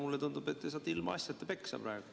Mulle tundub, et te saate ilmaasjata peksa praegu.